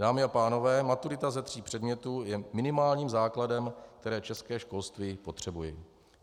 Dámy a pánové, maturita za tří předmětů je minimálním základem, které české školství potřebuje.